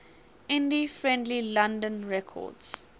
indie friendly london records